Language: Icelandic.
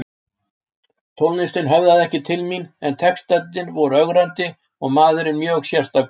Tónlistin höfðaði ekki til mín en textarnir voru ögrandi og maðurinn mjög sérstakur.